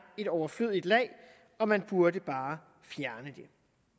et overflødigt lag og man burde bare fjerne det